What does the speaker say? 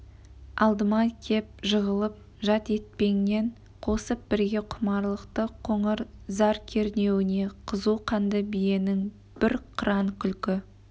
алдыма кеп жығылып жат етпеңнен қосып бірге құмарлықты қоңыр-зар кісінеуіне қызу қанды биенің біз қыран күлкі